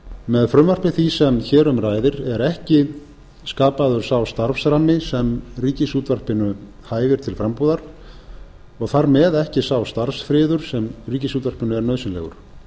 með frumvarpi því sem hér um ræðir er ekki skapaður sá starfsrammi sem ríkisútvarpinu hæfir til frambúðar og þar með ekki sá starfsfriður sem ríkisútvarpinu er nauðsynlegur